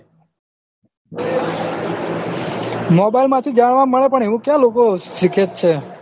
mobile માંથી જાણવા મળે તો એવું ક્યાં લોકો સીખેજ છે